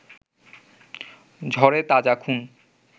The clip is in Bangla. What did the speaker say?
ঝরে তাজা খুন